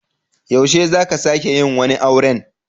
Yaushe za ka sake yin wani auren?